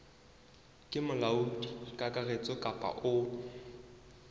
ke molaodi kakaretso kapa o